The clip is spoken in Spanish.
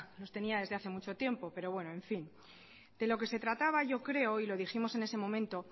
los tenía desde hace mucho tiempo pero bueno en fin de lo que se trataba yo creo y lo dijimos en ese momento